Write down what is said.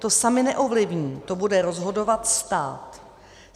To sami neovlivní, to bude rozhodovat stát.